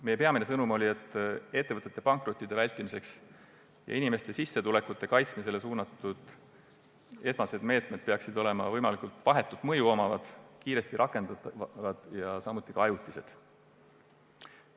Meie peamine sõnum oli see, et ettevõtete pankroti vältimisele ja inimeste sissetulekute kaitsmisele suunatud esmased meetmed peaksid olema võimalikult vahetu mõjuga, kiiresti rakendatavad ja ajutised.